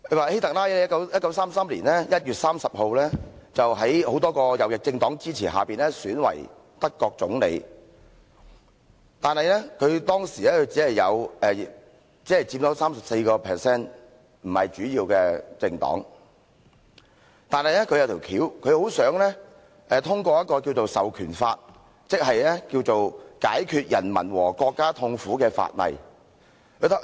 希特拉在1933年1月30日在多個右翼政黨支持下選為德國總理，但他當時只有 34% 議席，不是大多數的政黨。但是，他很想通過一項《授權法》，即《解決人民和國家痛苦法例》。